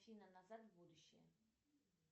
афина назад в будущее